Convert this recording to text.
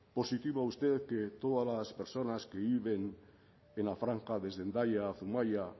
positivo a usted que todas las personas que viven en la franja desde hendaia a zumaia